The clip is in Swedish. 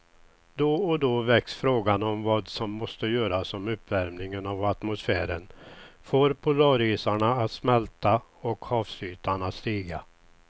Då och då väcks frågan om vad som måste göras om uppvärmingen av atmosfären får polarisarna att smälta och havsytan att stiga.